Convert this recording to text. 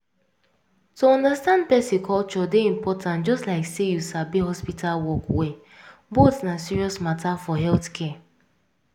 to understand person culture dey important just like say you sabi hospital work well — both na serious matter for healthcare.